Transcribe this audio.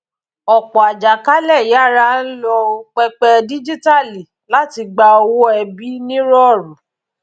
ọpọ àjàkálẹ yára ń lo pẹpẹ díjíítàálì láti gba owó ẹbí ní rọọrú